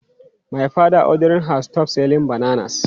My father ordered her "stop selling bananas!"